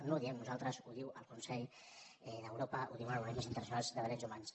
no ho diem nosaltres ho diu el consell d’europa ho diuen organismes internacionals de drets humans